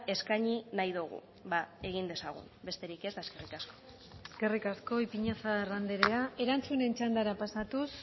eskaini nahi dogu bada egin dezagun besterik ez eta eskerrik asko eskerrik asko ipiñazar andrea erantzunen txandara pasatuz